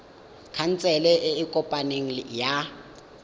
khansele e e kopaneng ya